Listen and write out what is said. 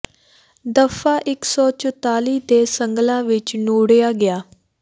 ਦਫ਼ਾ ਇਕ ਸੌ ਚੁਤਾਲੀ ਦੇ ਸੰਗਲਾਂ ਵਿਚ ਨੂੜਿਆ ਗਿਆ